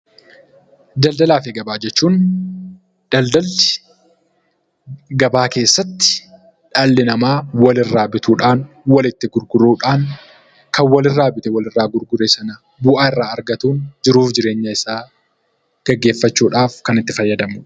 Daldalaafi gabaa jechuun daldalli gabaa keessatti dhalli namaa walirraa bituudhaan, walitti gurguruudhaan kan walirraa bitee walitti gurgure sana bu'aa irraa argatuun jiruuf jireenya isaa gaggeeffachuudhaaf kan itti fayyadamudha.